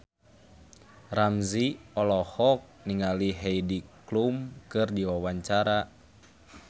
Ramzy olohok ningali Heidi Klum keur diwawancara